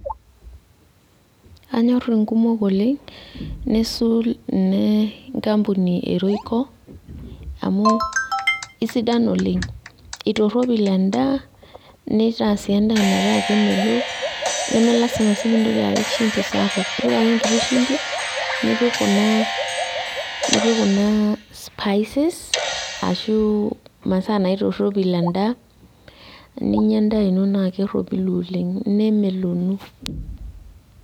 Anyorr inkumok oleng nisul ine nkampuni e royco amu isidan oleng amu itorropil endaa nitaa sii endaa metaa kemelok neme lasima sii pintoki apik shimbi sapuk ipik ake enkiti shimbi nipik kuna nipik kuna spices ashu imasaa naitorropil endaa eninyia endaa ino naa kerropilu oleng nemelonu.